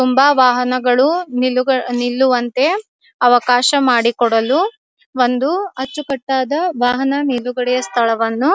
ತುಂಬ ವಾಹನಗಳು ನಿಲ್ಲುಗ ನಿಲ್ಲುವಂತೆ ಅವಕಾಶ ಮಾಡಿಕೊಡಲು ಒಂದು ಅಚ್ಚುಕಟ್ಟಾದ ವಾಹನ ನಿಲುಗಡೆಯ ಸ್ಥಳವನ್ನು --